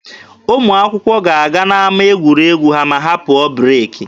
Ụmụ akwụkwọ ga-aga n'ama egwuregwu ha ma ha pụọ breeki.